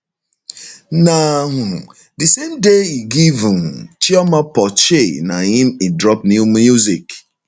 na um di same day e give um chioma porshe na im e drop new music